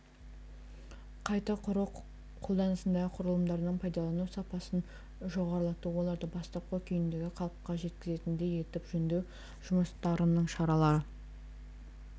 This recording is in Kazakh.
қайта құру қолданыстағы құрылымдардың пайдалану сапасын жоғарылату оларды бастапқы күйіндегі қалыпқа жеткізетіндей етіп жөндеу жұмыстарының шаралары